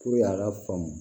a ka faamu